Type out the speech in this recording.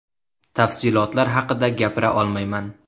Tafsilotlar haqida gapira olmayman.